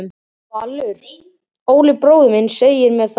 Valur: Óli bróðir minn segir mér það.